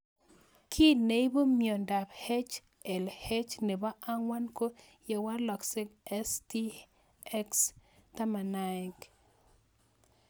Kiy neipu miondop HLH nepo angwan ko yewalak STX11